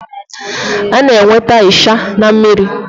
A na-enweta ịsha na mmiri.